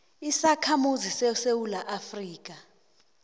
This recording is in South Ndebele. isakhamuzi sesewula afrika